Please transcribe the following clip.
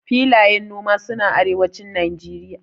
filayen noma suna arewacin nageria